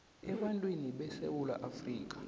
ebantwini besewula afrika